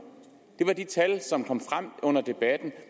det var de tal som kom frem under debatten